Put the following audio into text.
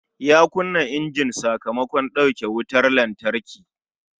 Ya kunna injin sakamakon dauke wutar lantarki